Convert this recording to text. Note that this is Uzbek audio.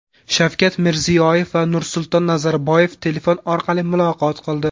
Shavkat Mirziyoyev va Nursulton Nazarboyev telefon orqali muloqot qildi.